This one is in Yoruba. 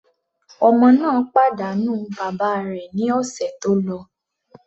Ọmọ náà pàdánù bàbá rẹ̀ ní ọ̀sẹ̀ tó lọ.